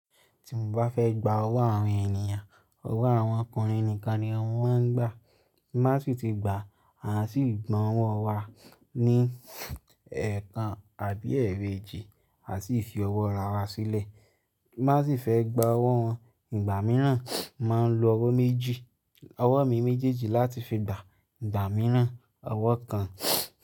Tí mo bá fẹ́ gba ọwọ́ àwọn ènìyàn, ọwọ́ àwọn ọkùnrin nìkan ni wọ́n máa ń gbà. Kí má sì ti gba, a sì gbọ́n ọwọ́ wa ní ẹ̀ẹ̀kan àbí ẹgbẹ̀jì, a sì fi ọwọ́ ara wa sílẹ̀. Kí má sì fẹ́ gba ọwọ́ wọn ìgbà mìíràn, a máa ń lo ọwọ́ méjì, ọwọ́ mi méjèèjì láti fi gba ìgbà mìíràn ọwọ́ kan.